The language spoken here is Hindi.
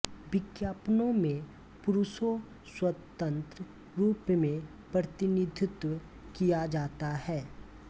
विज्ञापनो में पुरुषों स्वतन्त्र रूप में प्रतिनिधित्व किया जाता है